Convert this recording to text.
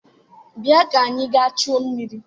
Bịa ka anyị gaa chute mmiri